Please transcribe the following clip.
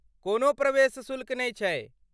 कोनो प्रवेश शुल्क नहि छैक।